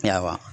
Yaa